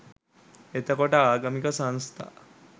එතකොට ආගමික සංස්ථා